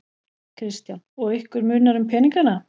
Kristján: Og ykkur munar um peningana?